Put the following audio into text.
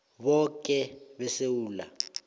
boke abantu besewula